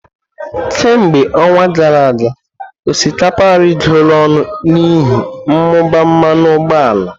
Kemgbe ọnwa gara aga, osikapa arịgoro ọnụ n'ihi mmụba mmanụ ụgbọala.